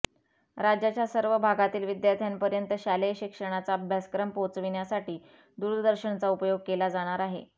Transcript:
राज्याच्या सर्व भागांतील विद्यार्थ्यांपर्यंत शालेय शिक्षणाचा अभ्यासक्रम पोहोचविण्यासाठी दूरदर्शनचा उपयोग केला जाणार आहे